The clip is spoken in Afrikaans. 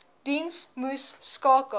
diens moes skakel